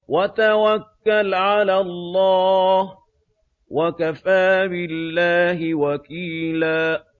وَتَوَكَّلْ عَلَى اللَّهِ ۚ وَكَفَىٰ بِاللَّهِ وَكِيلًا